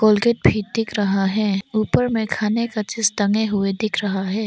Colgate भी दिख रहा है ऊपर में खाने का चीज टंगे हुए दिख रहा है।